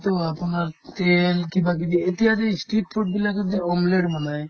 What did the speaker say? তো আপোনাৰ KN কিবাকিবি এতিয়াতো ই street food বিলাকে যে omlette বনাই